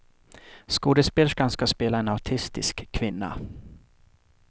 Skådespelerskan ska spela en autistisk kvinna.